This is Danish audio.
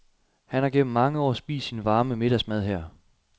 Han har gennem mange år spist sin varme middagsmad her.